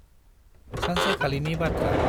सानसेखालिनि बाथ्रा।